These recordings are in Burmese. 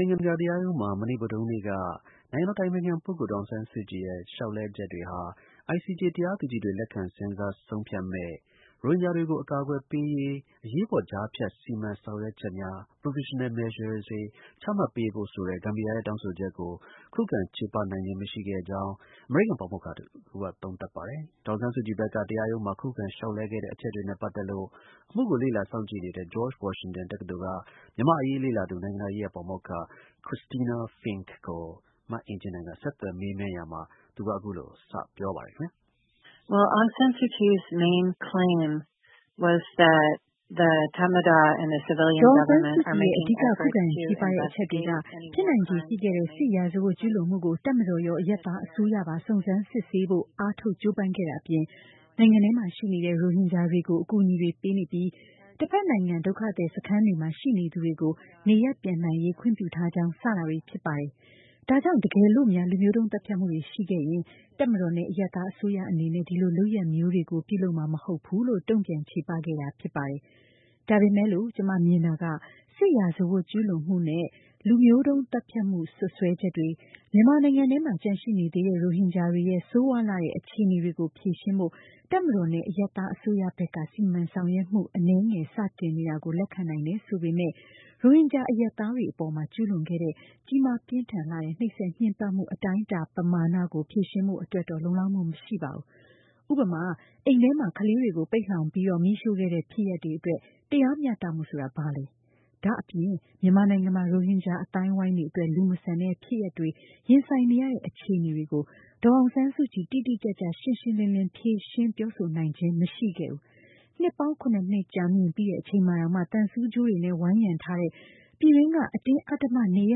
ိုင်ငံတကာတရားရုံးမှာ မနေ့ ဗုဒ္ဓဟူးနေ့က နိုင်ငံတော်အတိုင်ပင်ခံပုဂ္ဂိုလ် ဒေါ်အောင်ဆန်းစုကြည်ရဲ့ လျှောက်လဲှချက်တွေဟာ ICJ တရားသူကြီးတွေ လက်ခံစဉ်းစား ဆုံးဖြတ်မယ့် ရိုဟင်ဂျာတွေကို အကာအကွယ်ပေးရေး အရေးပေါ် ကြားဖြတ်စီမံဆောင်ရွက်များ ချမှတ်ပေးဖို့ ဆိုတဲ့ ဂမ်ဘီယာရဲ့ တောင်းဆိုချက်ကို ခုခံချေပနိုင်ခြင်း မရှိခဲ့ကြောင်း အမေရိကန်ပါမောက္ခတဦးက သုံးသပ်ပါတယ်။ ဒေါ်အောင်ဆန်းစုကြည် ဘက်က တရားရုံးမှာ ခုခံလျှောက်လဲ ခဲ့တဲ့ အချက်တွေနဲ့ ပတ်သက်လို့ အမှုကို လေ့လာစောင့်ကြည့်နေတဲ့ George Washington တက္ကသိုလ်က မြန်မာ့အရေးလေ့လာသူ နိုင်ငံတကာရေးရာ ပါမောက္ခ Christina Fink ကို မအင်ကြင်းနိုင်က ဆက်သွယ်မေးမြန်းရာမှာ သူက အခုလို စပြောပါတယ်။ ဒေါ်အောင်ဆန်းစုကြည်ရဲ့ အဓိက ခုခံချေပတဲ့အချက်တွေက ဖြစ်နိုင်ချေ ရှိခဲ့တဲ့ စစ်ရာဇဝတ်ကျူးလွန်မှုကို တပ်မတော်ရော အရပ်သားအစိုးရပါ စုံစမ်းစစ်ဆေးဖို့ အားထုတ်ကြိုးပမ်းခဲ့တာ အပြင် နိုင်ငံထဲမှာရှိနေတဲ့ ရိုဟင်ဂျာတွေကို အကူအညီတွေပေးနေပြီး တဖက်နိုင်ငံ ဒုက္ခသည်စခန်းတွေမှာ ရှိနေသူတွေကို နေရပ်ပြန်နိုင်ရေး ခွင့်ပြုထားကြောင်း စတာတွေဖြစ်ပါတယ်။ ဒါကြောင့် တကယ်လို့များ လူမျိုးတုန်းသတ်ဖြတ်မှုတွေရှိခဲ့ရင် တပ်မတော်နဲ့ အရပ်သားအစိုးရ အနေနဲ့ ဒီလို လုပ်ရပ်မျိုးတွေကို ပြုလုပ်မှာ မဟုတ်ဘူးလို့ တုန့်ပြန် ချေပခဲ့တာဖြစ်ပါတယ်။ ဒါပေမယ်လို့ ကျမမြင်တာက စစ်ရာဇဝတ်ကျူးလွန်မှုနဲ့ လူမျိုးတုန်းသတ်ဖြတ်မှု စွပ်စွဲချက်တွေ၊ မြန်မာနိုင်ငံထဲမှာ ကျန်ရှိနေသေးတဲ့ ရိုဟင်ဂျာတွေရဲ့ ဆိုးရွားလှတဲ့ အခြေအနေတွေကို ဖြေရှင်းဖို့ တပ်မတော်နဲ့ အရပ်သား အစိုးရဘက်က စီမံဆောင်ရွက်မှု အနည်းငယ် စတင်နေတာကို လက်ခံနိုင်တယ် ဆိုပေမဲ့ ရိုဟင်ဂျာ အရပ်သားတွေအပေါ် ကျူးလွန်ခဲ့တဲ့ ကြီးမာပြင်းထန်လှတဲ့ နှိပ်စက်ညှဉ်းပမ်းမှု အတိုင်းအတာ ပမာဏကို ဖြေရှင်းဖို့ အတွက် လုံလောက်မှုမရှိပါဘူး။ ဥပမာ- အိမ်ထဲမှာ ကလေးတွေကို ပိတ်လှောင်ပြီး မီးရှိုခဲ့တဲ့ ဖြစ်ရပ်တွေအတွက် တရားမျှတမှုဆိုတာ ဘာလဲ။ ဒါအပြင် မြန်မာနိုင်ငံမှာ ရိုဟင်ဂျာ အသိုင်းအဝိုင်းအတွက် လူမဆန်တဲ့ဖြစ်ရပ်တွေ ရင်ဆိုင်နေရတဲ့အခြေအနေကို ဒေါ်အောင်ဆန်းစုကြည် တိတိကျကျ ရှင်းရှင်းလင်းလင်း ဖြေရှင်းပြောဆိုခြင်း မရှိခဲ့ပါဘူး။ နှစ်ပေါင်း ခုနှစ်နှစ် ကြာမြင့်ပြီး အချိန်မှာတောင် သံဆူးကြိုးတွေနဲ့ ဝိုင်းရံထားတဲ့ ပြည်တွင်းက အတင်းအဓမ္မ နေရ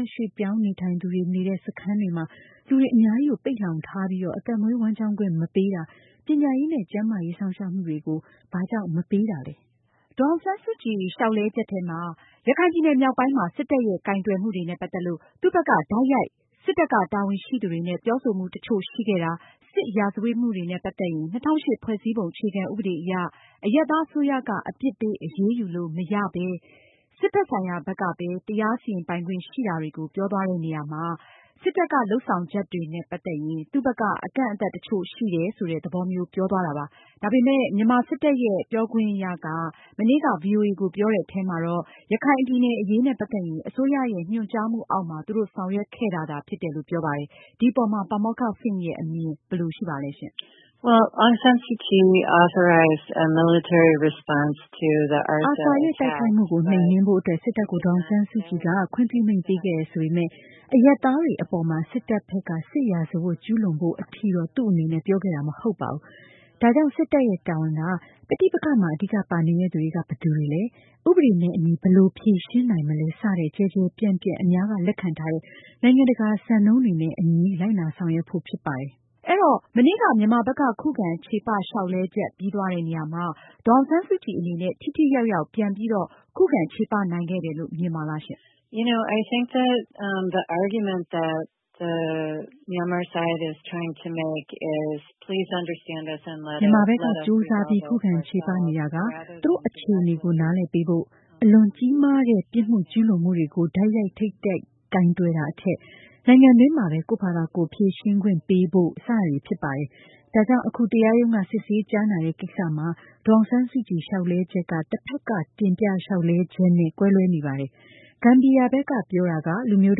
ပ်ရွှေ့ပြောင်းသူတွေနေထိုင်တဲ့ စခန်းတွေမှာ လူပေါင်းများစွာ ပိတ်လှောင်ထားပြီး အသက်မွေးဝမ်းကျောင်းခွင့် မပေးတာ၊ ပညာရေးနဲ့ ကျန်းမာရေးစောင့်ရှောင့်မှုတွေ ဘာကြောင့် မပေးတာလဲ။ ဒေါ်အောင်ဆန်းစုကြည် လျှောက်လဲချက်ထဲမှာ- ရခိုင်ပြည်နယ်မြောက်ပိုင်းမှာ စစ်တပ်ရဲ့ ကိုင်တွယ်မှုတွေနဲ့ ပတ်သက်လို့ သူ့ဘက်က တိုက်ရိုက် စစ်တပ်က တာဝန်ရှိသူတွေနဲ့ ပြောဆိုမှု တချို့ရှိခဲ့တာ၊ စစ်ရာဇဝတ်မှုတွေနဲ့ ပတ်သက်ရင် ၂၀၀၈ ဖွဲ့စည်းပုံ အခြေခံဥပဒေ အရ အရပ်သားအစိုးရက အပြစ်ပေး အရေးယူလို့မရဘဲ စစ်ဘက်ဆိုင်ရာဘက်ကပဲ တရားစီရင်ပိုင်ခွင့်ရှိတာတွေကို ပြောသွားတဲ့နေရာမှာ စစ်တပ်က လုပ်ဆောင်ချက်တွေနဲ့ ပတ်သက်ရင် သူ့ဘက်က အကန့်အသတ်တချို့ ရှိနေတယ်ဆိုတဲ့ သဘောမျိုး ပြောသွားတာပါ။ ဒါပေမယ့် မြန်မာစစ်တပ်ရဲ့ ပြောခွင့်ရက မနေ့က ဗွီအိုအေကို ပြောတဲ့အထဲမှာတော့- ရခိုင်ပြည်နယ် အရေးနဲ့ ပတ်သက်ရင် အစိုးရရဲ့ ညွန်ကြားမှုအောက်မှာ သူတို့ဆောင်ရွက်ခဲ့တာသာ ဖြစ်တယ်လို့ ပြောပါတယ်။ ဒီအပေါ်မှာ ပါမောက္ခFink ရဲ့ အမြင်ဘယ်လိုရှိလဲ။ ARSA ရဲ့တိုက်ခိုင်မှုကို နှိမ်နင်းဖို့ စစ်တပ်ကို ဒေါ်အောင်ဆန်းစုကြည်က ခွင့်ပြုမိန့် ပေးခဲ့တယ်ဆိုပေမဲ့ အရပ်သားတွေအပေါ် စစ်တပ်ဖက်က စစ်ရာဇဝတ်ကျူးလွန်ဖို့ထိ သူ့အနေနဲ့ ပြောခဲ့တာ မဟုတ်ပါဘူး။ ဒါကြောင့် စစ်တပ်ရဲ့ တာဝန်က- ပဋိပက္ခမှာ အဓိကပါနေတဲ့သူတွေက ဘယ်သူတွေလဲ၊ ဥပဒေနဲ့အညီ ဘယ်လိုဖြေရှင်းနိုင်မလဲ စတဲ့ ကျယ်ကျယ်ပြန့်ပြန့် အများက လက်ခံထားတဲ့ နိုင်ငံတကာ စံနှုန်းတွေနဲ့အညီ လိုက်နာဆောင်ရွက်ဖို့ဖြစ်ပါတယ်။ အဲတော့ မနေ့က မြန်မာဘက်က ခုခံ ချေပလျှောက်လဲချက်ပြီးသွားတဲ့ နေရာမှာ ဒေါ်အောင်ဆန်းစုကြည်အနေနဲ့ ထိထိရောက်ရောက် ပြန်ပြီး ချေပနိုင်ခဲ့တယ်လို့ မြင်ပါလား။ မြန်မာဘက်က ကြိုးစားပြီး ခုခံချေပနေတာက သူ့တို့အခြေအနေကို နားလည်ပေးဖို့၊ အလွန်ကြီးမားလှတဲ့ ပြစ်မှုကျူးလွန်မှုတွေကို တိုက်ရိုက်ထိပ်တိုက် ကိုင်တွယ်တာထက် နိုင်ငံတွင်းမှာပဲ ကိုယ့်ဘာသာ ကိုယ်ဖြေရှင်းခွင့်ပေးဖို့ စတာတွေပဲဖြစ်ပါတယ်။ ဒါကြောင့် အခု တရားရုံးက စစ်ဆေးကြားနာတဲ့ကိစ္စမှာ ဒေါ်အောင်ဆန်းစုကြည် လျှောက်လဲချက်က တဖက်က တင်ပြလျှောက်လဲချက် နဲ့ ကွဲလွဲနေပါတယ်။ ဂမ်ဘီယာကဘက် ပြောတာက လူမျိုး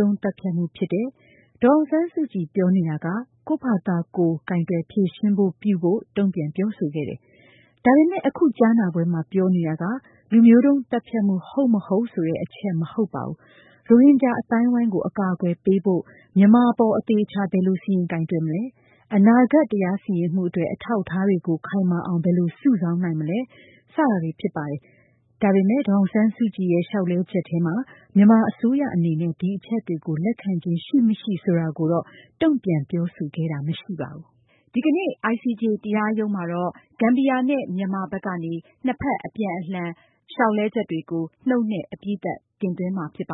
တုန်းသတ်ဖြတ်မှု ဖြစ်တယ်။ ဒေါ်အောင်ဆန်းစုကြည်ပြောနေတာက ကိုယ့်ဘာသာကိုယ် ကိုင်တွယ်ဖြေရှင်းခွင့်ပြုဖို့ တုန့်ပြန်ပြောဆိုခဲ့တယ်။ ဒါပေမယ့် အခုကြားနာပွဲမှာ ပြောနေတာက လူမျိုးတုန်းသတ်ဖြတ်မှု ဟုတ်မဟုတ်ဆိုတဲ့ အချက်မဟုတ်ပါဘူး။ ရိုဟင်ဂျာ အသိုင်းအဝိုင်းကို အကာအကွယ်ပေးဖို့ မြန်မာအပေါ် အသေအချာ ဘယ်လို စီရင်ကိုင်တွယ်မလဲ၊ အနာဂတ် တရားစီရင်မှုအတွက် အထောက်အထားတွေကို ခိုင်မာအောင် ဘယ်လိုစုဆောင်းနိုင်မလဲ စတာတွေပဲဖြစ်ပါတယ်။ ဒါပေမယ့် ဒေါ်အောင်ဆန်းစုကြည်ရဲ့ လျှောက်လဲချက်ထဲမှာ မြန်မာအစိုးရအနေနဲ့ ဒီအချက်တွေကို လက်ခံခြင်း ရှိမရှိဆိုတာကို တုန့်ပြန်ပြောဆိုခြင်း မရှိခဲ့ပါဘူး။ ကြာသပတေးနေ့ မှာတော့ ICJ တရားရုံးမှာ ဂမ်ဘီယာနဲ့ မြန်မာ နှစ်ဘက်အပြန်အလှန် အပြီးသတ်လျှောက်လဲချက်တွေကို နှုတ်နဲ့ တင်သွင်းကြမှာဖြစ်ပါ